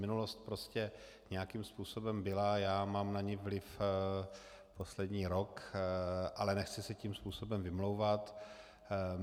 Minulost prostě nějakým způsobem byla, já mám na ni vliv poslední rok, ale nechci se tím způsobem vymlouvat.